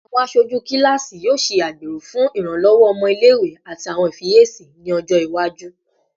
Awọn aṣoju kilasi yoo ṣe agbero fun iranlọwọ ọmọ ile-iwe ati awọn ifiyesi ni ọjọ iwaju